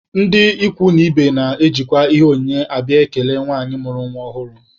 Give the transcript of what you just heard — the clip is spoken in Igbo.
Ndị ikwu na ibe na-ejikwa ihe onyinye abịa ikele nwanyị mụrụ nwa ọhụrụ.